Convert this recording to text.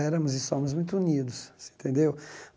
Éramos e somos muito unidos, você entendeu?